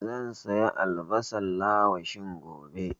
Zan saya albasan lawashi gobe